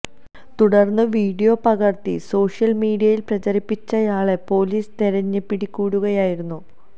തുടര്ന്ന് വീഡിയോ പകര്ത്തി സോഷ്യല് മീഡിയയില് പ്രചരിപ്പിച്ചയാളെ പോലീസ് തെരഞ്ഞ് പിടികൂടുകയായിരുന്നു